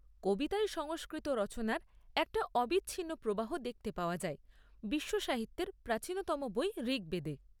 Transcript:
কবিতায় সংস্কৃত রচনার একটা অবিচ্ছিন্ন প্রবাহ দেখতে পাওয়া যায় বিশ্বসাহিত্যের প্রাচীনতম বই ঋগ্বেদে।